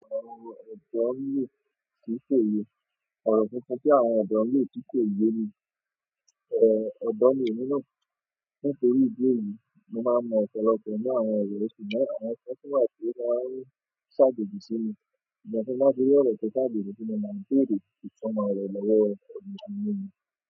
Àwọn ọ̀dọ́ mìíràn tí ń ṣe ìwé, ọ̀rọ̀ tuntun tí àwọn ọ̀dọ́ mìíràn tí ń ṣe ìwé ni, è, ọ̀dọ́ mìíràn nínú, nítorí ìdí mi, mo máa mọ ọ̀pọ̀lọpọ̀ nínú àwọn èrò, ṣùgbọ́n àwọn ọ̀rọ̀ tuntun wà tí ó máa ń ṣàjòjù sí mi nígbà tí mo bá dé ọ̀rọ̀ tí ṣàjòjù tí mo mọ̀, kí ó lè fi sọ̀rọ̀ lọ́wọ́ àwọn èrò mìíràn nínú.